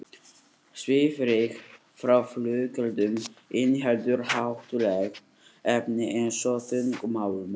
Svifryk frá flugeldum inniheldur hættuleg efni eins og þungmálma.